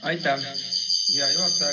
Aitäh, hea juhataja!